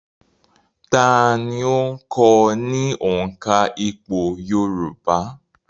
Ta ni ó kọ́ ọ ní òǹkà ìpò yorùbá?